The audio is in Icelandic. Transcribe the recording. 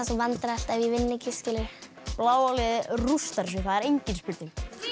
vandræðalegt ef ég vinn ekki bláa liðið rústar þessu það er engin spurning